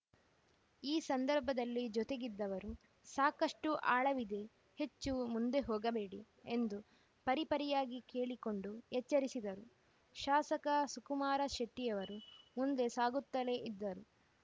ಈ ಸಂದರ್ಭದಲ್ಲಿ ಜೊತೆಗಿದ್ದವರು ಸಾಕಷ್ಟುಆಳವಿದೆ ಹೆಚ್ಚು ಮುಂದೆ ಹೋಗಬೇಡಿ ಎಂದು ಪರಿಪರಿಯಾಗಿ ಕೇಳಿಕೊಂಡು ಎಚ್ಚರಿಸಿದರೂ ಶಾಸಕ ಸುಕುಮಾರ ಶೆಟ್ಟಿಯವರು ಮುಂದೆ ಸಾಗುತ್ತಲೇ ಇದ್ದರು